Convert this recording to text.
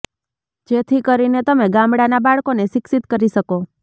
જેથી કરીને તમે ગામડાના બાળકોને શિક્ષત કરી શકો